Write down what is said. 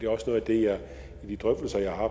også noget af det jeg i de drøftelser jeg har